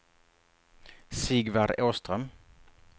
Sigvard Åström